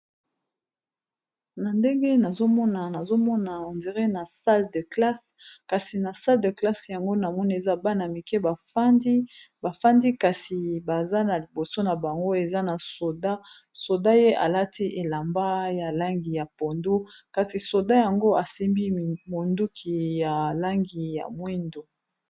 Na ndenge nazomona , nazomona ondiré na sal de classe, kasi na sal de classe yango na moni eza bana mike bafandi bafandi kasi baza na liboso na bango eza na soda, soda ye alati elamba ya langi ya pondo kasi soda yango asimbi monduki ya langi ya mwindo